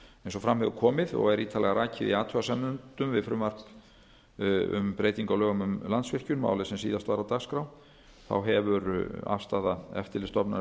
eins og fram hefur komið og er ítarlega rakið í athugasemdum við frumvarp um breyting á lögum um landsvirkjun málið sem síðast var á dagskrá hefur afstaða eftirlitsstofnunarinnar